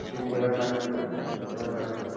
আহ এবার পাচ্ছি বল এবার পাচ্ছি. বল।